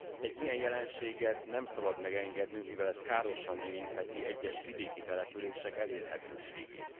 Egy ilyen jelenséget nem szabad megengednünk, mivel ez károsan érintheti egyes vidéki települések elérhetőségét.